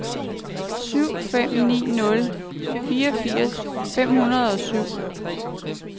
syv fem ni nul treogfirs fem hundrede og syv